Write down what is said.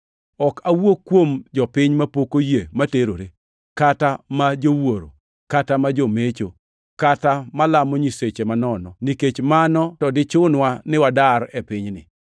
Ok awuo kuom jopiny mapok oyie ma terore, kata ma jowuoro, kata ma jomecho, kata malamo nyiseche manono, nikech mano to dichunwa ni wadar e pinyni.